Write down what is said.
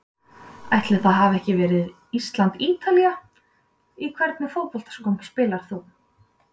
Ætli það hafi ekki verið Ísland-Ítalía Í hvernig fótboltaskóm spilar þú?